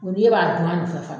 Mɛ ni e b'a dunn'a nɔ fɛ fana